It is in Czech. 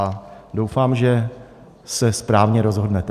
A doufám, že se správně rozhodnete.